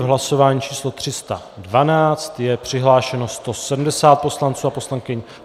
V hlasování číslo 312 je přihlášeno 170 poslanců a poslankyň.